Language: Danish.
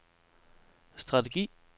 strategi